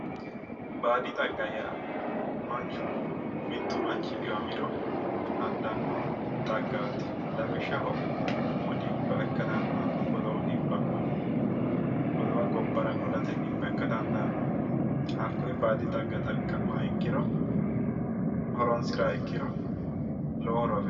Baadi xagga yaa manchu mittu manchi dhiwamiro adhanno xaggaati lawishshaho umu dhibba ikka dandaanno godowu dhibba godowa gobbara qolate dhibba ikka dandaanno hakkoye baadi xagga xaqqa'ma ikkiro horonsira ikkiro lowo horo afiranno